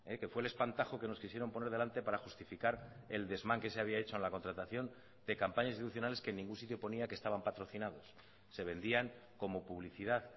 que fue el espantajo que nos quisieron poner delante para justificar el desmán que se había hecho en la contratación de campañas institucionales que en ningún sitio ponía que estaban patrocinados se vendían como publicidad